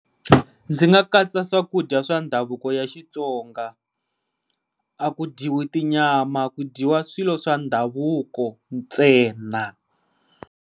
Ndzi nga katsa swakudya swa ndhavuko ya Xitsonga, a ku dyiwi tinyama ku dyiwa swilo swa ndhavuko ntsena.